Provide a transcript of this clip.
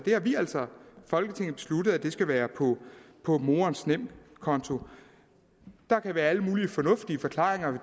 folketinget har besluttet at det skal være på morens nemkonto der kan være alle mulige fornuftige forklaringer